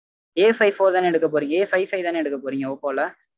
Afive four தான எடுக்க போறீங்க Afive five தான எடுக்க போறீங்க oppo ல